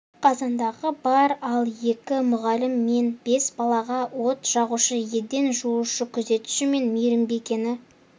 қазандығы бар ал екі мұғалім мен бес балаға от жағушы еден жуушы күзетші мен мейірбикені